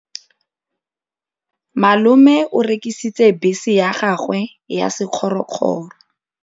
Malome o rekisitse bese ya gagwe ya sekgorokgoro.